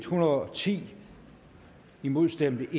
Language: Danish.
hundrede og ti imod stemte